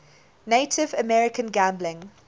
native american gambling